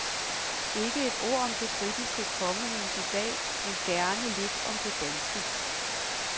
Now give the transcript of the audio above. Ikke et ord om det britiske kongehus i dag, men gerne lidt om det danske.